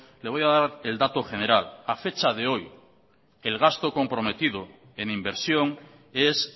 le voy a dar el dato general a fecha de hoy el gasto comprometido en inversión es